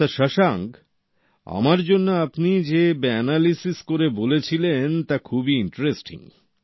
doctor Shashank আমার জন্য আপনি যে অ্যানালিসিস করে বলেছিলেন তা খুবই ইন্টারেস্টিং